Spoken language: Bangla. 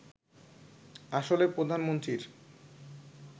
আসলে প্রধানমন্ত্রীর